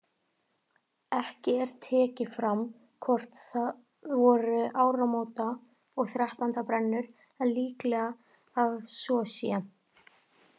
Ekki er tekið fram hvort það voru áramóta- og þrettándabrennur en líklegt að svo sé.